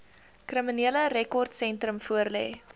kriminele rekordsentrum voorlê